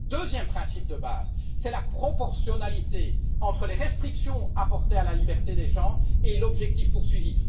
Le deuxième principe de base est la proportionnalité entre les restrictions appliquées à la liberté des gens et l'objectif poursuivi.